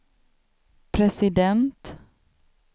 president